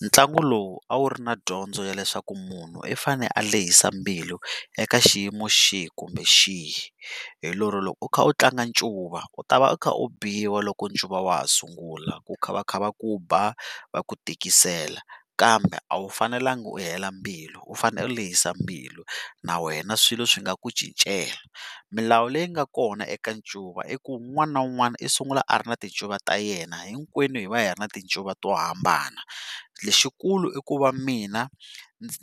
Ntlangu lowu a wu ri na dyondzo ya leswaku munhu i fanele a lehisa mbilu eka xiyimo xihi kumbe xihi. Hi lero loko u kha u tlanga ncuva u ta va u kha u biwa loko ncuva wa ha sungula ku kha va kha va ku ba va ku tikisela kambe a wu fanelangi u hela mbilu, u fanele u lehisa mbilu na wena swilo swi nga ku cincela. Milawu leyi nga kona eka ncuva i ku un'wana na un'wana i sungula a ri na tincuva ta yena hinkwenu hi va hi ri na tincuva to hambana. Lexikulu i ku va mina